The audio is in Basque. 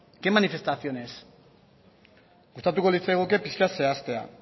qué manifestaciones gustatuko litzaiguke pixka bat zehaztea